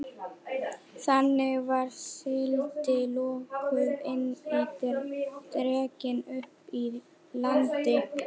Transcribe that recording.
Þannig var síldin lokuð inni og dregin upp í land.